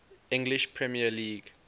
english premier league